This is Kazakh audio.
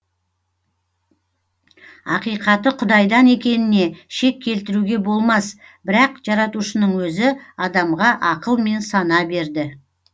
ақиқаты құдайдан екеніне шек келтіруге болмас бірақ жаратушының өзі адамға ақыл мен сана берді